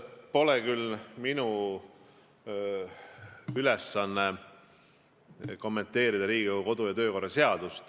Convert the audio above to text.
Pole küll minu ülesanne kommenteerida Riigikogu kodu- ja töökorra seadust.